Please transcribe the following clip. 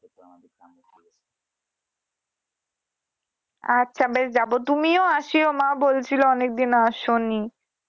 আচ্ছা বেশ যাবো তুমিও আসিও মা বলছিলো অনেক দিন আসোনি।